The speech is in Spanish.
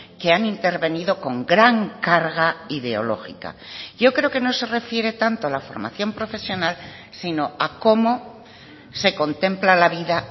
que han intervenido con gran carga ideológica yo creo que no se refiere tanto la formación profesional sino a cómo se contempla la vida